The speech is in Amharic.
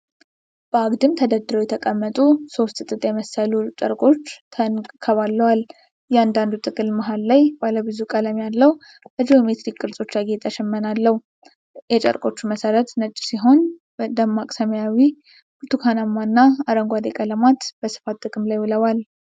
በአግድም ተደርድረው የተቀመጡ ሶስት ጥጥ የመሰሉ ጨርቆች ተንከባለዋል። እያንዳንዱ ጥቅል መሀል ላይ ባለ ብዙ ቀለም ያለው፣ በጂኦሜትሪክ ቅርጾች ያጌጠ ሽመና አለው። የጨርቆቹ መሠረት ነጭ ሲሆን፣ ደማቅ ሰማያዊ፣ ብርቱካናማ እና አረንጓዴ ቀለማት በስፋት ጥቅም ላይ ውለዋል።